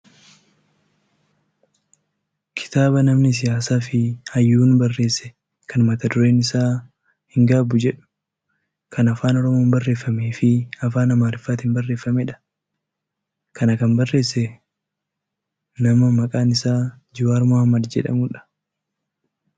kitaaba namni siyaasaa fi hayyuun barreesse kan mata dureen isaa "hin gaabbu" jedhu kan afaan oromoon barreeffameefi afaan amaariffaatiin barreeffamedha. kan kana barreesse kun ammoo nama maqaan isaa Jawaar Mohammed jedhamudha.